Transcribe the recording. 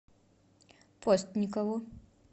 постникову